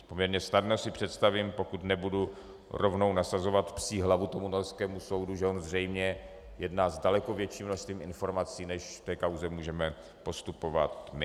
Poměrně snadno si představím, pokud nebudu rovnou nasazovat psí hlavu tomu norskému soudu, že on zřejmě jedná s daleko větším množství informací, než v té kauze můžeme postupovat my.